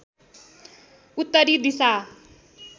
उत्तरी दिशा